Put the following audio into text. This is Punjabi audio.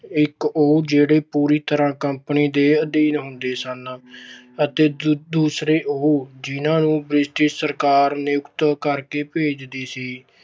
ਇਕ ਉਹ ਜਿਹੜੇ ਪੂਰੀ ਤਰ੍ਹਾਂ company ਦੇ ਅਧੀਨ ਹੁੰਦੇ ਸਨ ਅਤੇ ਦੂਜੇ ਉਹ ਜਿਹਨਾਂ ਨੂੰ ਬ੍ਰਿਟਿਸ਼ ਸਰਕਾਰ ਨਿਯੁਕਤ ਕਰਕੇ ਭੇਜਦੀ ਸੀ।